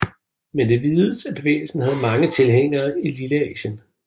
Men det vides at bevægelsen havde mange tilhængere i Lilleasien